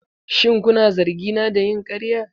Shin kuna zargina da yin ƙarya?